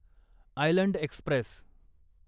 island Express